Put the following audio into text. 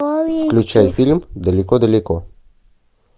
включай фильм далеко далеко